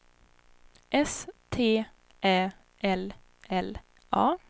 S T Ä L L A